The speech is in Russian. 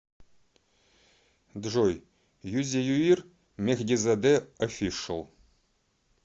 джой юзеюир мехдизаде офишл